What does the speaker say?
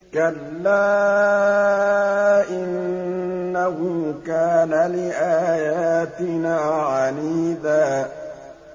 كَلَّا ۖ إِنَّهُ كَانَ لِآيَاتِنَا عَنِيدًا